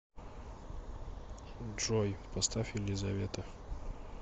джой поставь елизавета